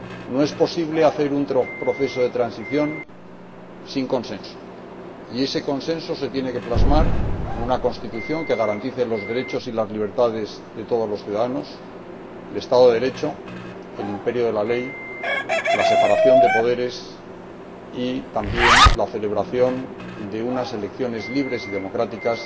No es posible hacer un proceso de transición sin consenso, y ese consenso se tiene que plasmar en una constitución que garantice los derechos y las libertades de todos los ciudadanos, el Estado de Derecho, el imperio de la ley, la separación de poderes y también la celebración de unas elecciones libres y democráticas